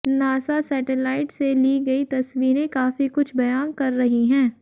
NASA satellite से ली गई तस्वीरें काफी कुछ बयान कर रही हैं